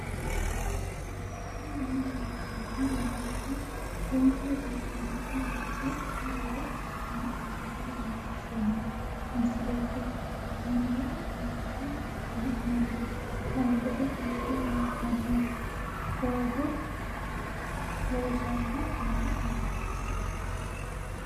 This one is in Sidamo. tini maa leelishshanno yaannohura lowonta biiffanota misile xuma gede assine haa'noonnita leellishshanno misileeti kaameru danchunni haa'noonni lamboe biiffe leeeltannodoogo loosanno manni leellanno